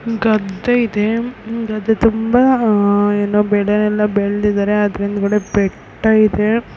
ಗದ್ದೆ ಇದೆ ಗದ್ದೆ ತುಂಬಾ ಏನೋ ಬೆಳೆಯಲ್ಲ ಬೆಳೆದಿದ್ದಾರೆ ಅದರ ಹಿಂದುಗಡೆ ಬೆಟ್ಟ ಇದೆ.